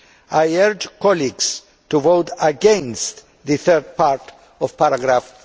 I urge colleagues to vote against the third part of paragraph